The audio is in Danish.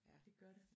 Det gør det